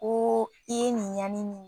Ko i ye nin ɲani nin